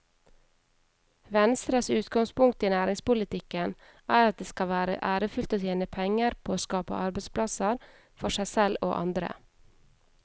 Venstres utgangspunkt i næringspolitikken er at det skal være ærefullt å tjene penger på å skape arbeidsplasser for seg selv og andre.